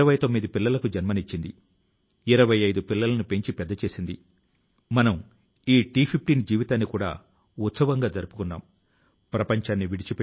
వివిధ దేశాల కు చెందిన వారు మన సంస్కృతి ని గురించి తెలుసుకోవాలనే కుతూహలం తో ఉండటమే కాకుండా దానిని పెంచేందుకు సహకరిస్తున్నారు